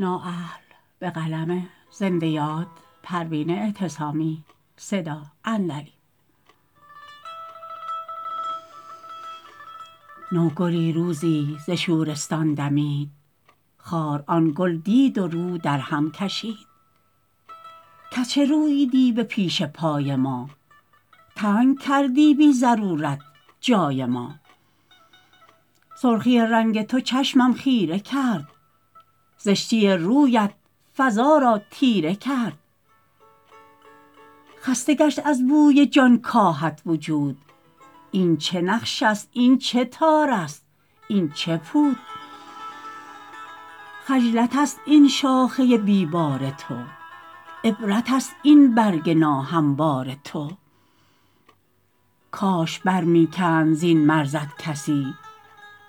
نوگلی روزی ز شورستان دمید خار آن گل دید و رو در هم کشید کز چه روییدی به پیش پای ما تنگ کردی بی ضرورت جای ما سرخی رنگ تو چشمم خیره کرد زشتی رویت فضا را تیره کرد خسته گشت از بوی جانکاهت وجود این چه نقش است این چه تار است این چه پود حجلت است این شاخه بی بار تو عبرت است این برگ ناهموار تو کاش بر میکند زین مرزت کسی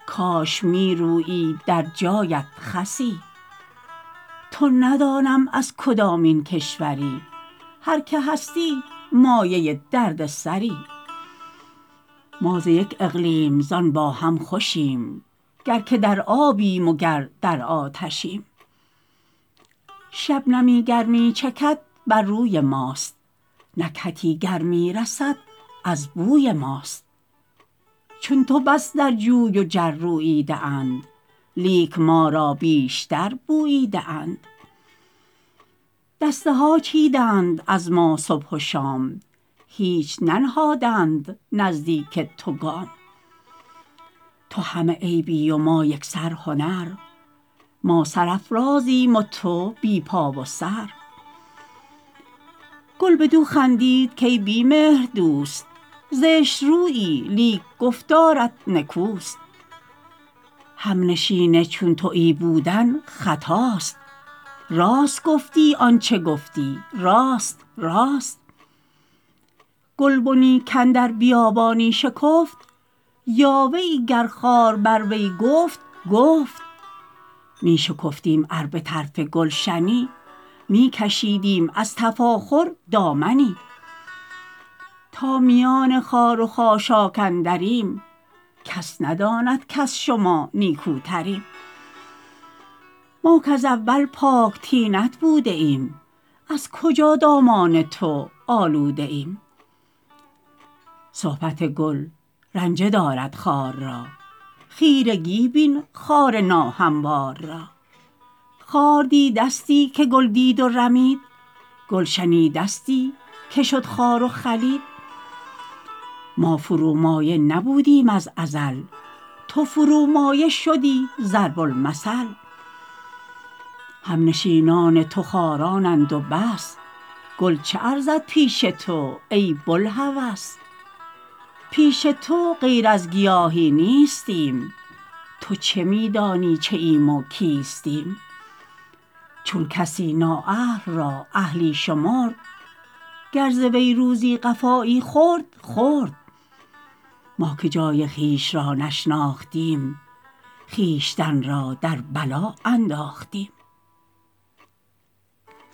کاش میرویید در جایت خسی تو ندانم از کدامین کشوری هر که هستی مایه دردسری ما ز یک اقلیم زان با هم خوشیم گر که در آبیم و گر در آتشیم شبنمی گر میچکد بر روی ماست نکهتی گر میرسد از بوی ماست چون تو بس در جوی و جر روییده اند لیک ما را بیشتر بوییده اند دسته ها چیدند از ما صبح و شام هیچ ننهادند نزدیک تو گام تو همه عیبی و ما یکسر هنر ما سرافرازیم و تو بی پا و سر گل بدو خندید کای بی مهر دوست زشترویی لیک گفتارت نکوست همنشین چون تویی بودن خطاست راست گفتی آنچه گفتی راست راست گلبنی کاندر بیابانی شکفت یاوه ای گر خار بر روی گفت گفت می شکفتیم ار بطرف گلشنی میکشیدیم از تفاخر دامنی تا میان خار و خاشاک اندریم کس نداند کز شما نیکوتریم ما کز اول پاک طینت بوده ایم از کجا دامان تو آلوده ایم صبحت گل رنجه دارد خار را خیرگی بین خار ناهموار را خار دیدستی که گل دید و رمید گل شنیدستی که شد خار و خلید ما فرومایه نبودیم از ازل تو فرومایه شدی ضرب المثل همنشینان تو خارانند و بس گل چه ارزد پیش تو ای بوالهوس پیش تو غیر از گیاهی نیستیم تو چه میدانی چه ایم و کیستیم چون کسی نا اهل را اهلی شمرد گر ز وی روزی قفایی خورد خورد ما که جای خویش را نشناختیم خویشتن را در بلا انداختیم